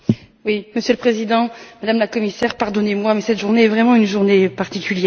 Monsieur le Président, Madame la Commissaire, pardonnez moi mais cette journée est vraiment une journée particulière.